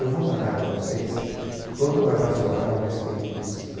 Eu vou mandar para vocês todo um arrazoado a respeito dos cinco.